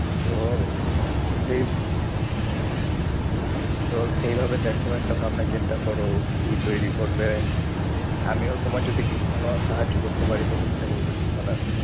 তো সেই সেইভাবে দেখো একটা ভাবনা চিন্তা করো, কি তৈরী করবে। আমিও তোমার যদি কোনো সাহায্য করতে পারি তো চেষ্টা করবো ঠিক করার।